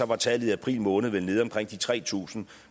var tallet i april måned vel nede på omkring de tre tusind